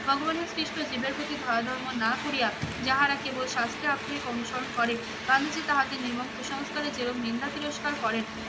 ভগবানের সৃষ্ট জীবের প্রতি দয়া ধর্ম না করিয়া যাহারা কেবল শাস্ত্রে আক্ষরিক অনুসরণ করে, গান্ধীজি তাহাদের নির্মম কুসংস্কারের যেরম নিন্দা তিরস্কার করেন